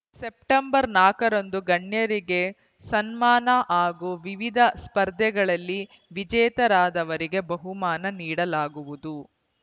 September ನಾಕ್ ರಂದು ಗಣ್ಯರಿಗೆ ಸನ್ಮಾನ ಹಾಗೂ ವಿವಿಧ ಸ್ಪರ್ಧೆಗಳಲ್ಲಿ ವಿಜೇತರಾದವರಿಗೆ ಬಹುಮಾನ ನೀಡಲಾಗುವುದು